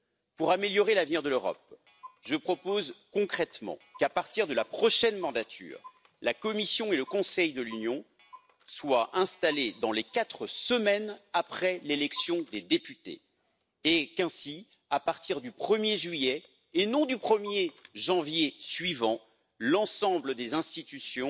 Pour améliorer l'avenir de l'Europe, je propose concrètement qu'à partir de la prochaine mandature, la Commission et le Conseil de l'Union soient installés dans les quatre semaines après l'élection des députés et qu'ainsi, à partir du 1er juillet et non du 1er janvier suivant, l'ensemble des institutions